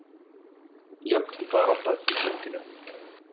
Jöfn barátta í sundinu